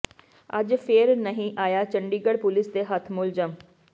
ਅੱਜ ਫੇਰ ਨਹੀਂ ਆਇਆ ਚੰਡੀਗਡ਼੍ਹ ਪੁਲੀਸ ਦੇ ਹੱਥ ਮੁਲਜ਼ਮ